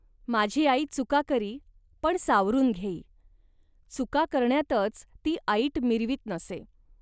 माझी आई चुका करी, पण सावरून घेई. चुका करण्यातच ती ऐट मिरवीत नसे